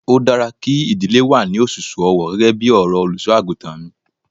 Ó dára kí ìdílé wà ní òṣùṣù ọwọ gẹ́gẹ́ bí ọ̀rọ̀ Olùṣọ́-àgùntàn mi.